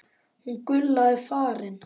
Hún Gulla er farin